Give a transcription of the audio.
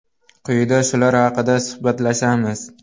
Quyida shular haqida suhbatlashamiz.